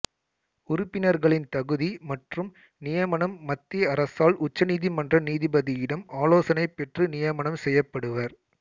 உறுப்பினர்களின் தகுதி மற்றும் நியமனம் மத்திய அரசால் உச்சநீதிமன்ற நீதிபதியிடம் ஆலோசனை பெற்று நியமனம் செய்யப்படுவர்